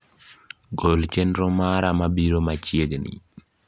gol chenro mara mabiro machiegni